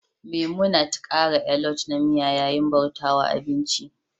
memunant kara alot na miya yayin bauta wa abinci